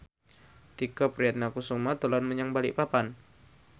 Tike Priatnakusuma dolan menyang Balikpapan